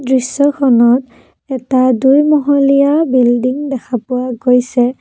দৃশ্যখনত এটা দুই মহলীয়া বিল্ল্ডিং দেখা পোৱা গৈছে।